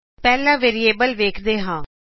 ਪਹਿਲਾ ਵੇਰਿਏਬਲਸ ਵੇਖਦੇਂ ਹਾਂ